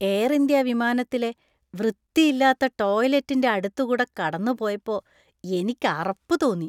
Air India വിമാനത്തിലെ വൃത്തിയില്ലാത്ത ടോയ്‌ലറ്റിന്‍റെ അടുത്തുകൂടെ കടന്നുപോയപ്പോ എനിക്ക് അറപ്പ് തോന്നി .